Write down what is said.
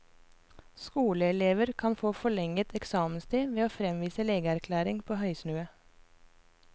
Skoleelever kan få forlenget eksamenstid ved å fremvise legeerklæring på høysnue.